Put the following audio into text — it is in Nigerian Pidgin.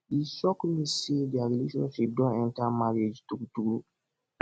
e shock me say their relationship don enter marriage true true